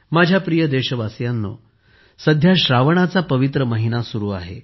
माझ्या प्रिय देशवासियांनो सध्या श्रावणाचा पवित्र महिना सुरु आहे